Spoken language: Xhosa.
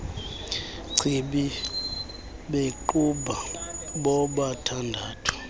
chibi bequbha bobathandathu